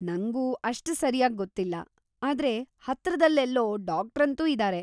ನಂಗೂ ಅಷ್ಟ್ ಸರ್ಯಾಗ್‌ ಗೊತ್ತಿಲ್ಲ, ಆದ್ರೆ ಹತ್ರದಲ್ಲೆಲ್ಲೋ ಡಾಕ್ಟ್ರಂತೂ ಇದಾರೆ.